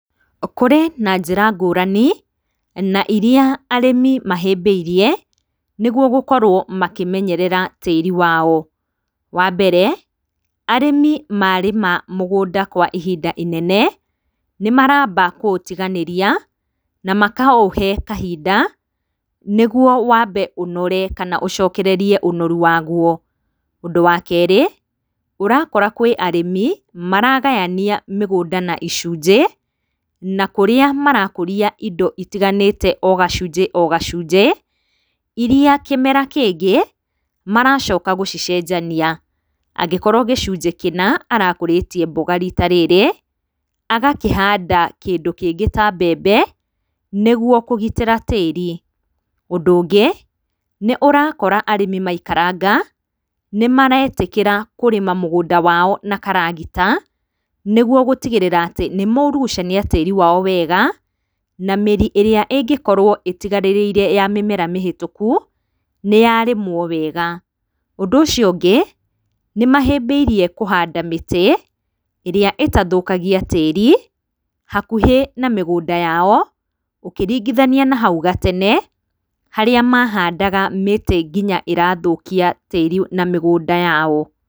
Kũrĩ na njira ngũrani na iria arĩmi mahĩbĩrie nĩguo makorwo makĩmenyerea tĩri wao, wambere arĩmi marĩma mũgũnda kwa ihinda inene nĩmaramba kũutiganĩria na makaũhe kahinda nĩgũo wambe ũnore kana ũcokererie ũnoru waguo, ũndũ wa kerĩ ũrakora kwĩ arĩmi maragayania mĩgũnda na icujĩ na kũrĩa marakũria indo itiganĩte ogacujĩ ogacujĩ, iria kĩmera kĩngĩ maracoka gũcicejania angĩkorwo gĩcujĩ kĩna arakũrĩtie mboga rita rĩrĩ agakĩhanda kĩndũ kĩngĩ ta mbembe nĩguo kũgitĩra tĩri, ũndũ ũngĩ nĩũrakora arĩmi maikaranga, nĩmaretĩkĩra kũrĩma mũgũnda wao na karagita nĩguo gũtigĩrĩra atĩ nĩmaũrucania tĩri wao wega na mĩri ĩrĩa ĩngĩkorwo ĩtiganĩrĩire ya mĩmera mĩhĩtũku nĩyarĩmwo wega, ũndũ ũcio ũngĩ ,nĩmahĩmbĩire kũhanda mĩtĩ ĩrĩa ĩtathũkagia tĩri hakuhĩ na mĩgũnda yao ũkĩringithania na hau gatene harĩa mahandaga mĩtĩ nginya ĩrathũkia tĩri na mĩgũnda yao.